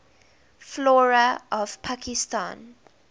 flora of pakistan